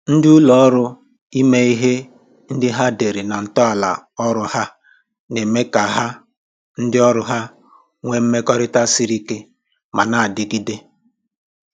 Ndị ụlọ ọrụ ime ihe ndị ha dere na ntọala ọrụ ha na-eme ka ha ndị ọrụ ha nwe mmekọrịta siri ike ma na-adịgide